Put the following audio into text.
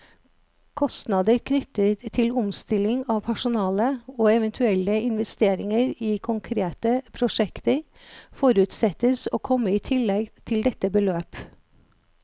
Kostnader knyttet til omstilling av personale, og eventuelle investeringer i konkrete prosjekter, forutsettes å komme i tillegg til dette beløp.